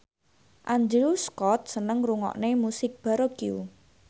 Andrew Scott seneng ngrungokne musik baroque